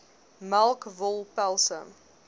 melk wol pelse